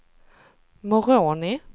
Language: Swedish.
Moroni